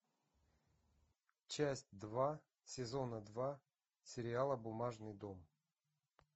часть два сезона два сериала бумажный дом